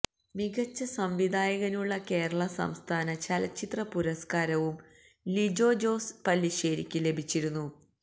മികച്ച സംവിധായകനുള്ള കേരള സംസ്ഥാന ചലചിത്ര പുരസ്കാരവും ലിജോ ജോസ് പല്ലിശ്ശേരിക്ക് ലഭിച്ചിരുന്നു